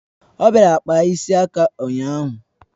O bịara kpaa ịsị aka ụnyaahụ